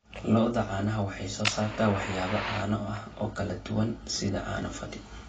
Lo'da caanaha waxay soo saartaa waxyaabo caano ah oo kala duwan sida caano fadhi.